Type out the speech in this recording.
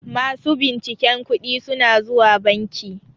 masu binciken kuɗi suna zuwa banki